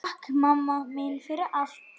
Takk mamma mín fyrir allt.